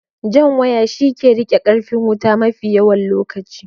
Jan waya shi ke rike da karfin wuta mafi yawan lokaci